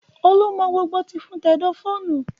Olú mọ gbogbo tìfun tẹ̀dọ̀ fóònù